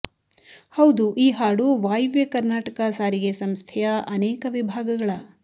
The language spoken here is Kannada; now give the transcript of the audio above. ಹೌದು ಈ ಹಾಡು ವಾಯುವ್ಯ ಕರ್ನಾಟಕ ಸಾರಿಗೆ ಸಂಸ್ಥೆಯ ಅನೇಕ ವಿಭಾಗಗಳ